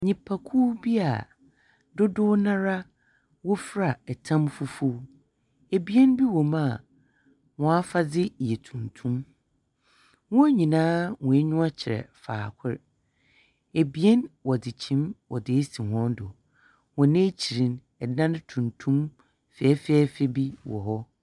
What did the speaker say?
Nnipakuw bi a dodow no ara wofura tam fufuw. Ebien bi wɔ mu a, hɔn afadze yɛ tuntum. Wɔn nyinaa hɔn enyiwa kyerɛ faakor. Ebien wɔdze kyim wɔdze esi hɔn do. Hɔn ekyir no, dan tuntum fɛfɛɛfɛ bi wɔ hɔ.